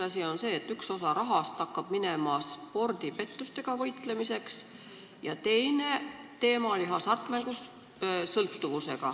Esiteks see, et üks osa rahast hakkab minema spordipettustega võitlemiseks, ja teine teema oli hasartmängusõltuvus.